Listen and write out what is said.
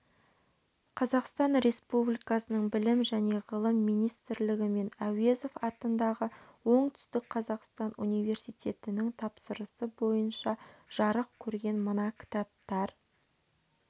қазақстан республикасының білім және ғылым минстрлігі мен әуезов атындағы оңтүстік қазақстан университетінің тапсырысы бойынша жарық көрген мына кітаптар